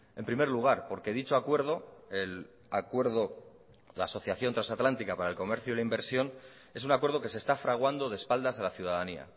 en primer lugar porque dicho acuerdo el acuerdo la asociación trasatlántica para el comercio y la inversión es un acuerdo que se está fraguando de espaldas a la ciudadanía